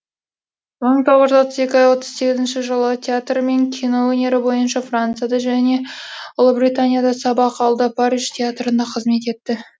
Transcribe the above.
мың тоғыз жүз отыз екінші отыз сегізінші жылы театр мен кино өнері бойынша францияда және ұлыбританияда сабақ алды париж театрында қызмет етті